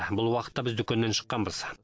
бұл уақытта біз дүкеннен шыққанбыз